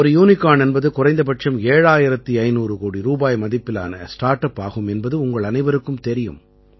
ஒரு யூனிகார்ன் என்பது குறைந்தபட்சம் 7500 கோடி ரூபாய் மதிப்பிலான ஸ்டார்ட் அப் ஆகும் என்பது உங்கள் அனைவருக்கும் தெரியும்